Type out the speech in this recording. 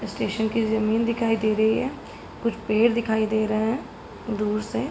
Station की जमीन दिखाई दे रही है। कुछ पेड़ दिखाई दे रहे हैं दूर से।